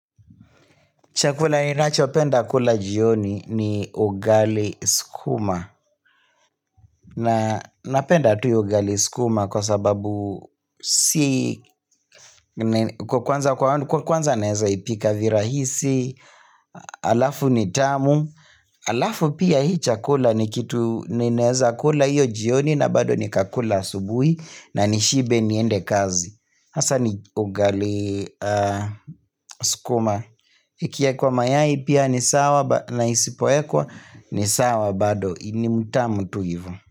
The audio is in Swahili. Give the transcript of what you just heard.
Chakula ni nacho penda kula jioni ni ugali sukuma. Napenda tu hio ugali sukuma kwa sababu si kwanza naeza ipika virahisi, alafu ni tamu. Alafu pia hii chakula ni kitu ninaeza kula hiyo jioni na bado nikakula asubuhi na nishibe niende kazi. Hasa ni ugali sukuma Ikiekwa mayai pia ni sawa na isipo ekwa ni sawa bado ni mtamu tu hivo.